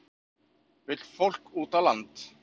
Vill fólk út á land